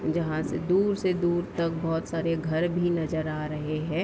जहाँ से दूर से दूर तक बहोत सारे घर भी नजर आ रहे हैं।